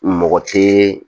Mɔgɔ tɛ